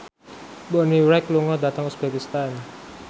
Bonnie Wright lunga dhateng uzbekistan